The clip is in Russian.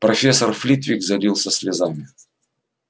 профессор флитвик залился слезами